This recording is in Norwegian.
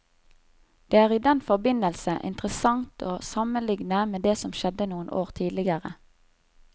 Det er i den forbindelse interessant å sammenligne med det som skjedde noen år tidligere.